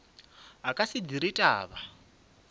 a ka se dire taba